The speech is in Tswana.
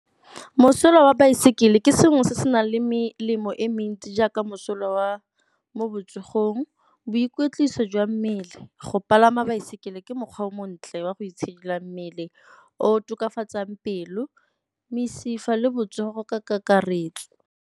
Mosola wa baesekele ke sengwe se se nang le melemo e mentsi jaaka mosola wa mo botsogong, boikwetliso jwa mmele. Go palama baesekele ke mokgwa o montle wa go itshidila mmele o tokafatsang pelo, mesifa le botsogo go ka kakaretso.